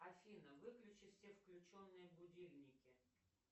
афина выключи все включенные будильники